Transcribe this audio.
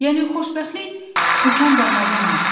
Yəni xoşbəxtlik dükan bazardan alınır?